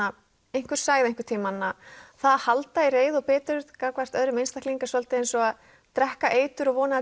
einhver sagði einhvern tímann að það að halda í reiði og biturð gagnvart öðrum einstakling er svolítið eins og að drekka eitur og vona að